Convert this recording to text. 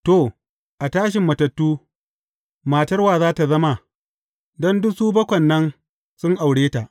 To, a tashin matattu, matar wa za tă zama, don duk su bakwai nan sun aure ta?